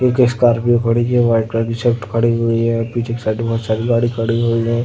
एक स्कार्पियो खड़ी है। वाइट कलर की स्विफ्ट खड़ी हुई है। पीछे के साइड बोहोत सारी गाडी खड़ी हुई हैं।